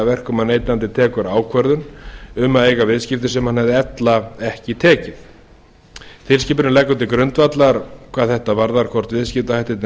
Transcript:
verkum að neytandinn tekur ákvörðun um að eiga viðskipti sem hann hefði ella ekki tekið tilskipunin leggur til grundvallar hvað þetta varðar hvort viðskiptahættirnir